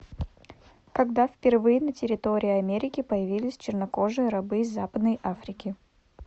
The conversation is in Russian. когда впервые на территории америки появились чернокожие рабы из западной африки